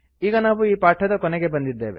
ಈಗ ನಾವು ಈ ಪಾಠದ ಕೊನೆಗೆ ಬಂದಿದ್ದೇವೆ